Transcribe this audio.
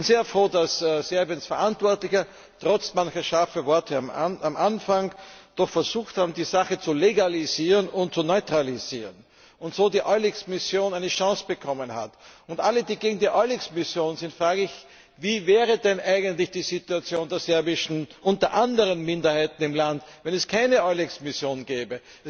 Ich bin sehr froh, dass Serbiens Verantwortliche, trotz manch scharfer Worte am Anfang, doch versucht haben, die Sache zu legalisieren und zu neutralisieren, so dass die EULEX Mission eine Chance bekommen hat. Alle, die gegen die EULEX Mission sind, frage ich, wie wäre denn eigentlich die Situation der serbischen und anderer Minderheiten im Land, wenn es keine EULEX Mission gäbe?